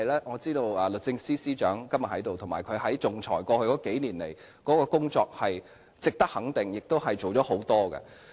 我知道律政司司長今天在席，過去數年他在仲裁方面做了很多工作，值得予以肯定。